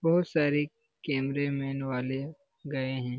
बहुत सारे कैमरेमैन वाले गए हैं।